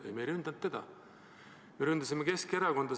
Ei, me ei rünnanud teda, me ründasime Keskerakonda.